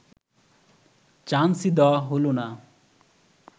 চান্সই দেওয়া হল না